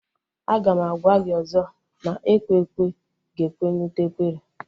Aga m agwa gị ọzọ na ekwe ekwe ga-ekwe na ute ekwere